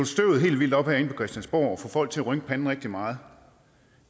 støvet helt vildt op herinde på christiansborg og få folk til at rynke panden rigtig meget